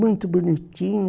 Muito bonitinho.